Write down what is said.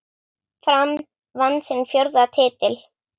Fram vann sinn fjórða titil.